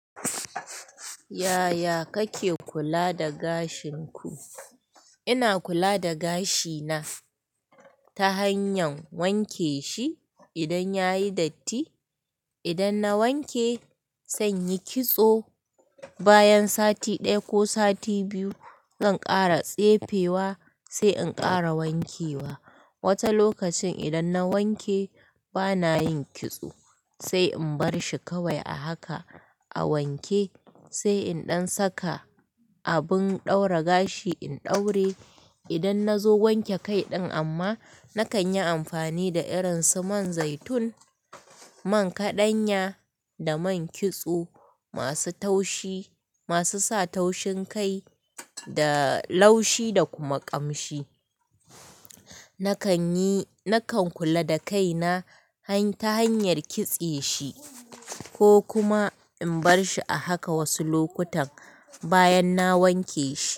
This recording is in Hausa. Yaya kake kula da gashin ku? Ina kula da gashi na ta hanyar wanke shi idan yayi datti. Idan na wanke, zanyi kitso bayan sati ɗaya ko sati biyu zan ƙara tsefe wa sai in kara wanke wa. Wata lokacin idan na wanke bana yin kitso sai in bar shi kawai a haka, a wanke sai in ɗan saka abin ɗaura gashi in ɗaure. Idan na zo wanke kai ɗin amma nakan yi amfani da irin su man zaitun, man kaɗanya da man kitso masu taushi, masu sa taushin kai da laushi da kuma ƙamshi. Nakan yi, nakan kula da kai na ta hanyar kitse shi ko kuma in bar shi a haka wasu lokutan bayan na wanke shi.